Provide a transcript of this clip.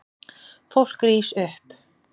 Fólk rís upp.